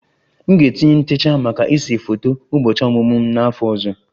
M ga-etinye ntecha maka ịse foto ụbọchị ọmụmụ m n'afọ ọzọ